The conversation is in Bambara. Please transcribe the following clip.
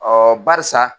barisa